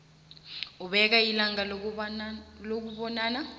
ubeke ilanga lokubonana